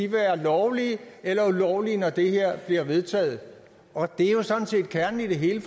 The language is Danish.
være lovlige eller ulovlige når det her bliver vedtaget og det er jo sådan set kernen i det hele